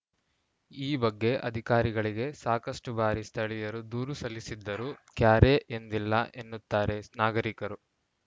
ಈ ಬಗ್ಗೆ ಅಧಿಕಾರಿಗಳಿಗೆ ಸಾಕಷ್ಟುಬಾರಿ ಸ್ಥಳೀಯರು ದೂರು ಸಲ್ಲಿಸಿದ್ದರೂ ಕ್ಯಾರೆ ಎಂದಿಲ್ಲ ಎನ್ನುತ್ತಾರೆ ನಾಗರಿಕರು